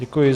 Děkuji.